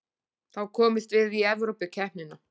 Þá komumst við í Evrópukeppnina